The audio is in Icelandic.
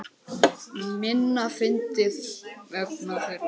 Minna fyndinn vegna þeirra.